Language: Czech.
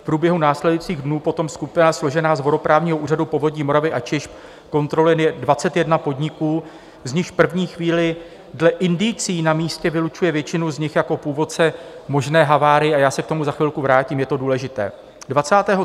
V průběhu následujících dnů potom skupina složená z vodoprávního úřadu, Povodí Moravy a Čech kontroluje 21 podniků, z nichž v první chvíli dle indicií na místě vylučuje většinu z nich jako původce možné havárie, a já se k tomu za chvilku vrátím, je to důležité.